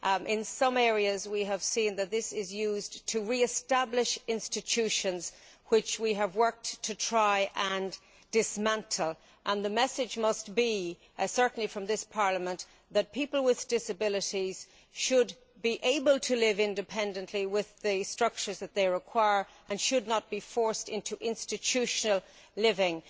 In some areas we have seen that this is used to re establish institutions which we have worked to try to dismantle. The message must be certainly from this Parliament that people with disabilities should be able to live independently with the structures that they require and should not be forced into institutional living.